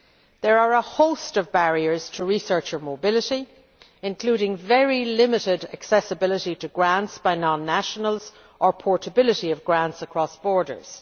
There are a host of barriers to research and mobility, including very limited accessibility to grants by non nationals or portability of grants across borders.